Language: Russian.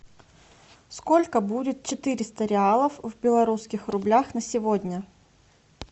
сколько будет четыреста реалов в белорусских рублях на сегодня